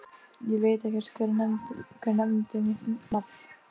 Ég veit ekkert, hver nefndi mitt nafn?